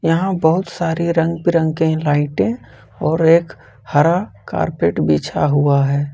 यहां बहुत सारे रंग बिरंगे के लाइटें और एक हरा कारपेट बिछा हुआ है।